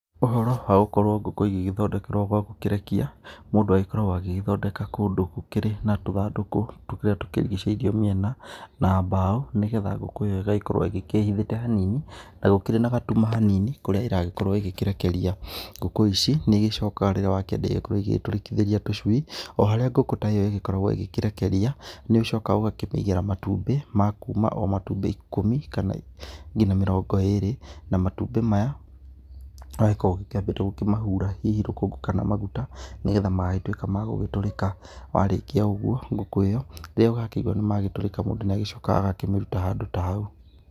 Ũhoro wa gũkorwo ngũkũ igĩgĩthondekerwo gwa gũkĩrekia, mũndũ agĩkoragwo agĩgĩthondeka kũndũ gũkĩrĩ na tũthandũkũ tũrĩa tũkĩrigicĩirio mĩena na mbaũ, nĩgetha ngũkũ ĩyo ĩgakorwo ĩgĩkĩhĩthite hanini na gũkĩrĩ na gatuma hanini, kũrĩa ĩragĩkorwo ĩgĩkĩrekeria. Ngũkũ ici, nĩ igĩcokaga rĩrĩa wakĩenda ĩgĩkorwo ĩgĩgĩtũrĩkithĩria tũcui, o harĩ ngũkũ ta ĩyo ĩgĩkoragwo ĩgĩkĩrekeria, nĩ ũcokaga ũgakĩmĩigĩra matumbĩ ma kuuma o matumbĩ ikũmi, kana nginya mĩrongo ĩrĩ, na matumbĩ maya, marĩa ũgĩkoragwo ũgĩkĩambĩte gũkĩmahura hihi rũkũngũ kana maguta, nĩgetha magagĩtuĩka magũgĩtũrĩka. Warĩkia ũguo, ngũkũ ĩyo, rĩrĩa ũgakĩigua nĩ matũrĩka mũndũ nĩ agĩcokaga agakĩmĩruta handũ ta hau.